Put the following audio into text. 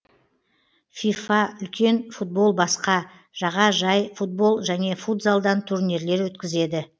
фифа үлкен футбол басқа жаға жай футбол және футзалдан турнирлер өткізеді